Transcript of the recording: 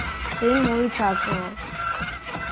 сын мой участвовал